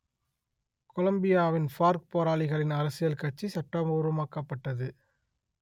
கொலம்பியாவின் FARC போராளிகளின் அரசியல் கட்சி சட்டபூர்வமாக்கப்பட்டது